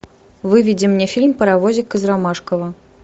выведи мне фильм паровозик из ромашково